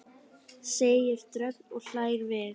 segir Dröfn og hlær við.